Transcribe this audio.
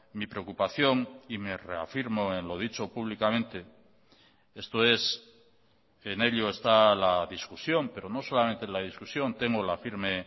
mi preocupación y me reafirmo en lo dicho públicamente esto es en ello está la discusión pero no solamente la discusión tengo la firme